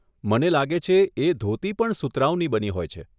મને લાગે છે, એ ધોતી પણ સુતરાઉની બની હોય છે.